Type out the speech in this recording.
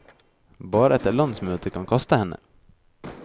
Bare et landsmøtet kan kaste henne.